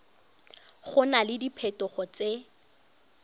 go na le diphetogo tse